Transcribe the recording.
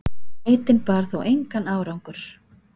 Leitin bar þó engan árangur.